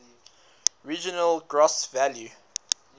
regional gross value